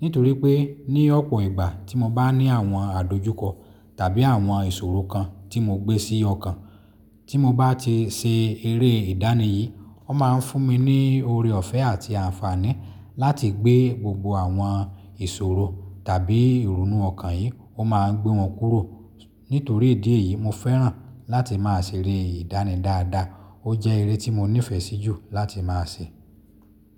Nítorí pé ní ọ̀pọ̀ ìgbà tí mo bá ní àwọn àdojúkọ tàbí àwọn ìṣòro kan tí mo gbé sí ọkàn, tí mo bá ti ṣe eré ìdánì yìí, ó máa ń fún mi ní oore ọ̀fẹ́ àti àǹfààní láti gbé gbogbo àwọn ìṣòro tàbí ìrònú ọkàn yìí, ó máa ń gbé wọn kúrò. Nítorí ìdí èyí, mo fẹ́ràn láti máa ṣe eré ìdánì dáadáa. Ó jẹ́ eré tí mo nífẹ̀ẹ́ sí jù láti máa ṣe.